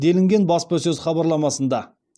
делінген баспасөз хабарламасында